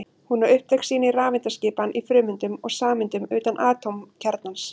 Hún á upptök sín í rafeindaskipan í frumeindum og sameindum utan atómkjarnans.